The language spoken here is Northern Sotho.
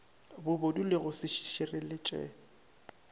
bobodu le go se šireletše